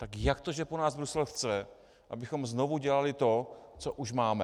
Tak jak to, že po nás Brusel chce, abychom znovu dělali to, co už máme?